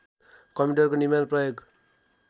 कम्प्युटरको निर्माण प्रयोग